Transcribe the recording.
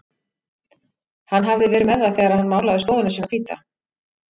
Hann hafði verið með það þegar hann málaði stofuna sína hvíta.